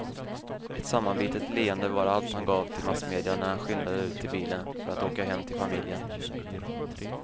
Ett sammanbitet leende var allt han gav till massmedia när han skyndade ut till bilen för att åka hem till familjen.